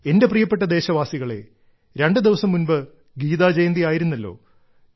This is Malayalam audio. എന്റെ പ്രിയപ്പെട്ട ദേശവാസികളേ രണ്ടുദിവസം മുൻപ് ഗീതാ ജയന്തിയായിരുന്നല്ലോ